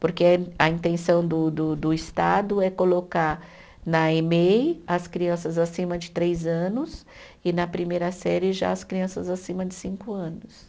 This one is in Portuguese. Porque a intenção do do do Estado é colocar na Emei as crianças acima de três anos e na primeira série já as crianças acima de cinco anos.